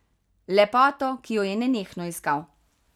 Lepoto, ki jo je nenehno iskal.